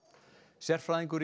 sérfræðingur í